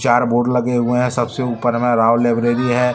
चार बोर्ड लगे हुए हैं सब से ऊपर में राव लाइब्रेरी है।